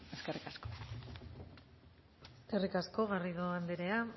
eskerrik asko eskerrik asko garrido anderea